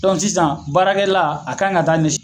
sisan baarakɛla a ka kan ka taa nin